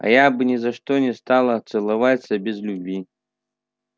а я бы ни за что не стала целоваться без любви